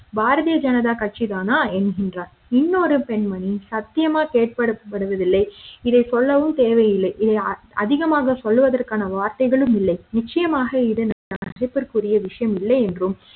பாரதிய ஜனதா கட்சி தானா என்கின்றார் இன்னொரு பெண்மணி சத்தியமா கேட்கப்படுவதில்லை இதை சொல்லவும் தேவையில்லை அதிகமாக சொல்லுவதற்கான வார்த்தைகளும் இல்லை நிச்சயமாக இது மதிப்பிற்க்குரிய விஷயம் இல்லை என்றும்